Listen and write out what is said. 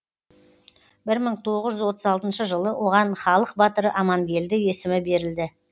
бір мың тоғы жүз отыз алтыншы жылы оған халық батыры амангелді есімі берілді